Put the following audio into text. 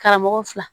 Karamɔgɔ fila